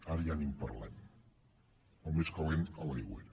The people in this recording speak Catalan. ara ja ni en parlem el més calent és a l’aigüera